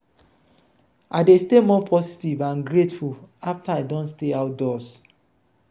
i dey stay more positive and grateful afta i don stay outdoors.